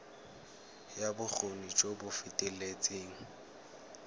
ya bokgoni jo bo feteletseng